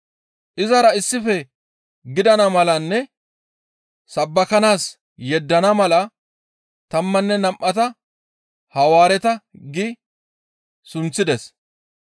Izara issife gidana malanne sabbakanaas yeddana mala tammanne nam7ata, «Hawaareta» gi sunththides.